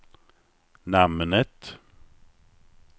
namnet